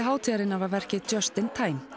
hátíðarinnar var verkið Just in time